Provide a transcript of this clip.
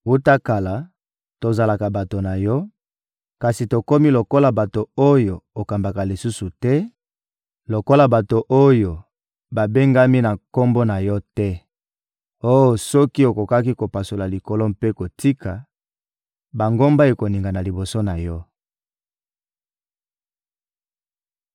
Wuta kala, tozalaka bato na Yo; kasi tokomi lokola bato oyo okambaka lisusu te, lokola bato oyo babengami na Kombo na Yo te. Oh soki okokaki kopasola likolo mpe kokita, bangomba ekoningana liboso na Yo!